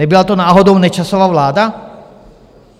Nebyla to náhodou Nečasova vláda?